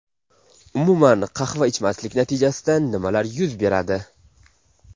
Umuman qahva ichmaslik natijasida nimalar yuz beradi?